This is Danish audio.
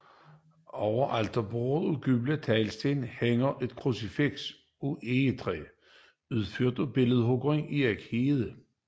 Over alterbordet af gule teglsten hænger et krucifiks af egetræ udført af billedhuggeren Erik Heide